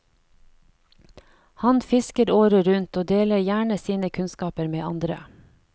Han fisker året rundt og deler gjerne sine kunnskaper med andre.